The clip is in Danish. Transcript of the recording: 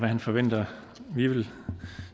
han forventer vi vil